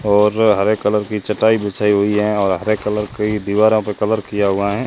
और हरे कलर की चटाई बिछाई हुई है और हरे कलर की दीवारा प कलर किया हुआ है।